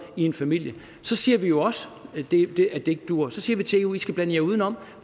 i en familie så siger vi jo også at det ikke duer så siger vi til eu i skal blande jer udenom